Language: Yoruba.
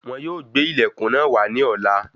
Wọn yóò gbé ilẹkùn náà wà ní ọ̀la.